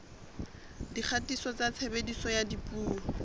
dikgatiso tsa tshebediso ya dipuo